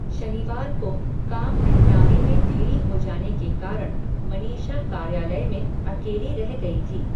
शनिवार को, काम निपटाने में देरी हो जाने के कारण, मनीषा कार्यालय में, अकेली रह गई थी